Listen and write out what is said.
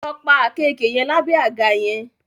Lọ pa àkekèé yẹn lábẹ́ àga yẹn!